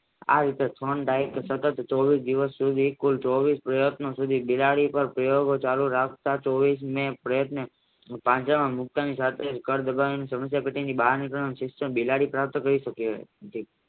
આ વિશે ટ્રોન ડાયટ બિલાડી પાર સેવર્ગ ચાલુ રાખતા તેઓને પ્રયત્ને પાંજરામાં મુકવાની જાતે કળ દબાવાની સમસ્યા ટેટીની બહાર નીકરવાનું શિક્ષણ બિલાડી પ્રાપ્ત કરી સકી હતી.